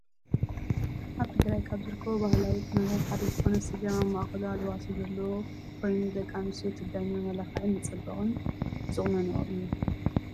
ኣብ ትግራይ ካብ ዝርከቡ ባህላዊ ቁኖታት ሓደ ዝኮነ ስገም ኣብ ማእከሉ ኣልባሶ ዘለዎ ኮይኑ ደቂ ኣንስትዮ ትግራይ ንመመላክዕን መፀበቅን ዝቁኖኖኦ እዩ።